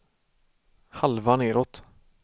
halva nedåt